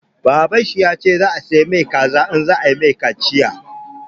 Baban shi ya ce zai saya ma shi kaza in za a yi mai kaciya.